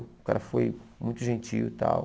O cara foi muito gentil e tal.